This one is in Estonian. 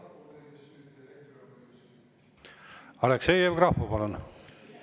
Aleksei Jevgrafov, palun!